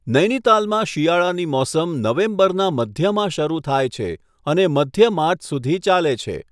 નૈનીતાલમાં શિયાળાની મોસમ નવેમ્બરના મધ્યમાં શરૂ થાય છે અને મધ્ય માર્ચ સુધી ચાલે છે.